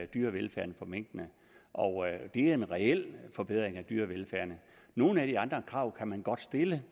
dyrevelfærden for minkene og det er en reel forbedring af dyrevelfærden nogle af de andre krav kan man godt stille